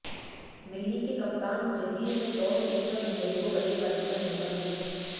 दिल्ली के कप्तान जहीर ने टॉस जीतकर मुंबई को बल्लेबाजी का न्योता दिया